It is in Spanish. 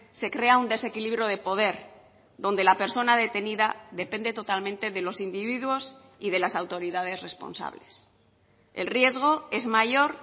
se crea un desequilibrio de poder donde la persona detenida depende totalmente de los individuos y de las autoridades responsables el riesgo es mayor